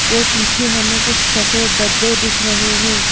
और पीछे हमें कुछ सफेद डब्बे दिख रहे हैं।